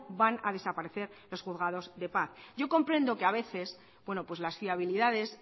van a desaparecer los juzgados de paz yo comprendo que a veces bueno pues las fiabilidades